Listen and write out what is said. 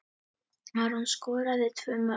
Aron skoraði tvö mörk.